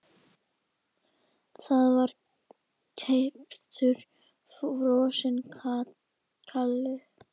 Það var keyptur frosinn kalli.